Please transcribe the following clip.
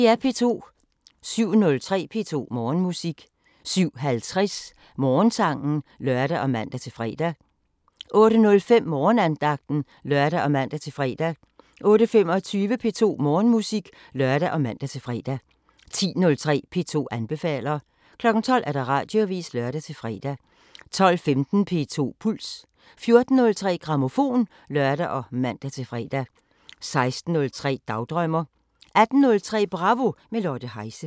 07:03: P2 Morgenmusik 07:50: Morgensangen (lør og man-fre) 08:05: Morgenandagten (lør og man-fre) 08:25: P2 Morgenmusik (lør og man-fre) 10:03: P2 anbefaler 12:00: Radioavisen (lør-fre) 12:15: P2 Puls 14:03: Grammofon (lør og man-fre) 16:03: Dagdrømmer 18:03: Bravo – med Lotte Heise